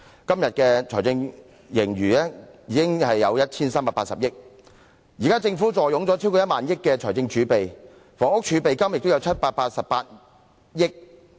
今天的財政盈餘已達 1,380 億元，現時政府坐擁超過1萬億元的財政儲備，房屋儲備金亦有788億元。